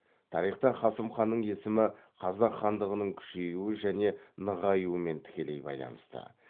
тарихта қасым ханның есімі қазақ хандығының күшеюі және нығаюымен тікелей байланысты